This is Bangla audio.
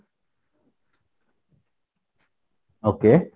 okay